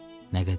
Nə qədər?